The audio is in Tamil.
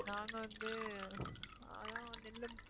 நாங்க வந்து நெல்லு